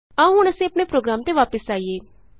ਆਉ ਹੁਣ ਅਸੀਂ ਆਪਣੇ ਪ੍ਰੋਗਰਾਮਤੇ ਵਾਪਸ ਆਈਏ